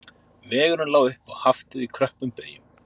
Vegurinn lá upp á Haftið í kröppum beyjum